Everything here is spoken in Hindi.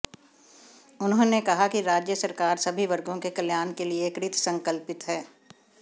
उन्होंने कहा कि राज्य सरकार सभी वर्गों के कल्याण के लिए कृत संकल्पित है